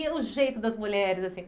E o jeito das mulheres assim?